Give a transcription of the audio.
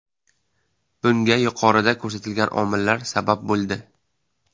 Bunga yuqorida ko‘rsatilgan omillar sabab bo‘ldi.